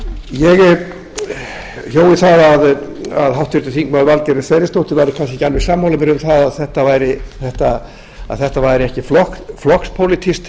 ég hjó eftir því að háttvirtur þingmaður valgerður sverrisdóttir væri kannski ekki alveg sammála mér um það að þetta væri ekki flokkspólitískt